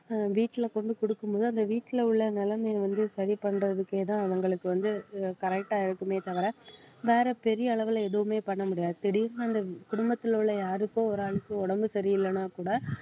அஹ் வீட்ல கொண்டு குடுக்கும்போது அந்த வீட்டுல உள்ள நிலைமையை வந்து சரி பண்றதுக்கேதான் அவங்களுக்கு வந்து அஹ் correct ஆ இருக்குமே தவிர வேற பெரிய அளவுல எதுவுமே பண்ண முடியாது திடீர்ன்னு அந்த குடும்பத்தில உள்ள யாருக்கோ ஒரு ஆளுக்கு உடம்பு சரியில்லன்னா கூட